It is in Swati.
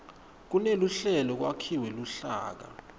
kuneluhlelo kwakhiwe luhlaka